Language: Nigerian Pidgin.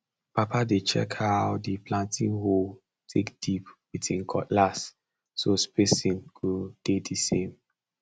papa dey check how the planting hole take dip with him cutlass so spacing go dey the same